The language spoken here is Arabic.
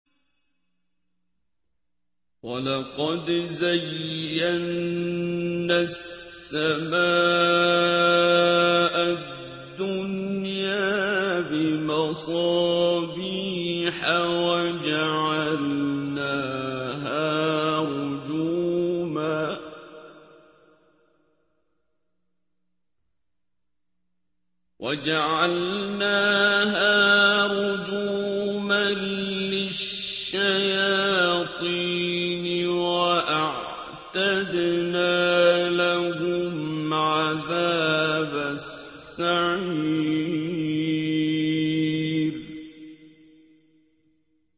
وَلَقَدْ زَيَّنَّا السَّمَاءَ الدُّنْيَا بِمَصَابِيحَ وَجَعَلْنَاهَا رُجُومًا لِّلشَّيَاطِينِ ۖ وَأَعْتَدْنَا لَهُمْ عَذَابَ السَّعِيرِ